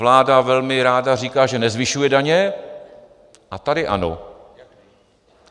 Vláda velmi ráda říká, že nezvyšuje daně, a tady ano.